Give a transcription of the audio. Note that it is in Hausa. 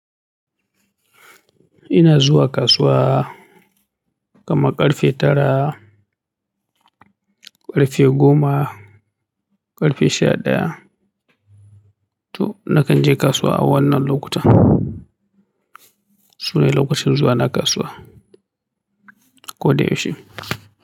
Ina zuwa kasuwa kaman ƙarfe tara, ƙarfe goma, ƙarfe sha ɗaya. To nakan je kasuwa a wannan lokutan. Sune lokacin zuwa na kasuwa, ko da yaushe.